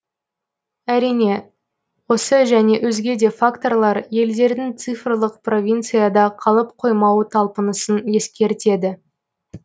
әрине осы және өзге де факторлар елдердің цифрлық провинцияда қалып қоймауы талпынысын ескертеді